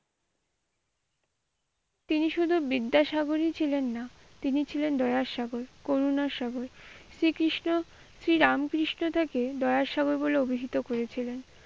তিনি শুধু বিদ্যাসাগরই ছিলেন না তিনি ছিলেন দয়ারসাগর করুণাসাগর। শ্রী কৃষ্ণ শ্রীরামকৃষ্ণ তাকে দয়া সাগর বলে অভিসিত করেছিলেন।